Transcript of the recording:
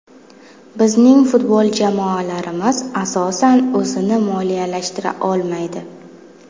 Bizning futbol jamoalarimiz, asosan, o‘zini moliyalashtira olmaydi.